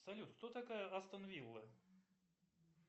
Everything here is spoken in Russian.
салют кто такая астон вилла